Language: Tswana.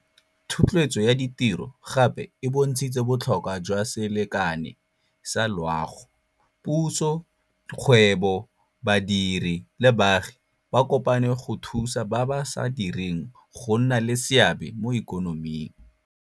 Thotloetso ya ditiro gape e bontshitse botlhokwa jwa selekane sa loago. Puso, kgwebo, badiri le baagi ba kopane go thusa ba ba sa direng go nna le seabe mo ikonoming.